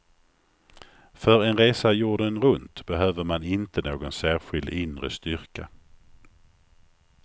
För en resa jorden runt behöver man inte någon särskild inre styrka.